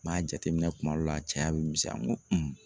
N m'a jateminɛ kuma dɔw la cɛya be misɛnya n ko